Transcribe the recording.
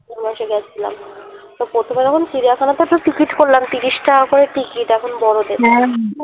গেছিলাম তো প্রথমবার যখন চিড়িয়াখানা তে তো ticket করলাম এিশ টাকা করে ticket এখন বড়দের